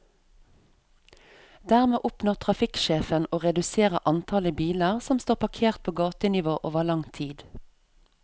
Dermed oppnår trafikksjefen å redusere antallet biler som står parkert på gatenivå over lang tid.